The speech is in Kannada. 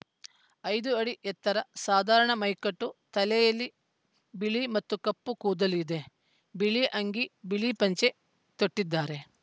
ಐದು ಅಡಿ ಎತ್ತರ ಸಾಧಾರಣ ಮೈಕಟ್ಟು ತಲೆಯಲ್ಲಿ ಬಿಳಿ ಮತ್ತು ಕಪ್ಪು ಕೂದಲು ಇದೆ ಬಿಳಿಅಂಗಿ ಬಿಳಿ ಪಂಚೆ ತೊಟ್ಟಿದ್ದಾರೆ